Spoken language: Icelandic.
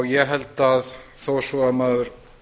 ég held að þó svo maður